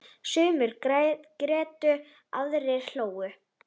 Sumir grétu, aðrir hlógu.